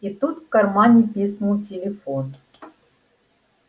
и тут в кармане пикнул телефон